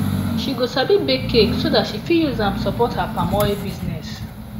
she go sabi bake cake so dat she fit use am support her palm oil business